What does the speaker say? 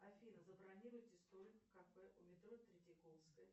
афина забронируйте столик в кафе у метро третьяковская